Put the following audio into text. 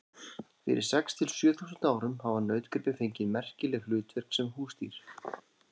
Fyrir sex til sjö þúsund árum hafa nautgripir fengið merkileg hlutverk sem húsdýr.